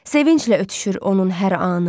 Sevinclə ötüşür onun hər anı.